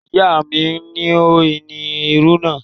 Ìyá mi ni ó ni irú náà.